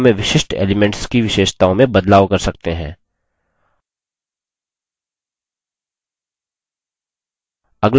इस प्रकार से हम form में विशिष्ट elements की विशेषताओं में बदलाव कर सकते हैं